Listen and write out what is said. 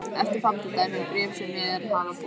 Eftirfarandi er dæmi um bréf sem mér hafa borist